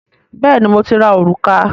Bẹ́ẹ̀ni, mo ti ra òrùka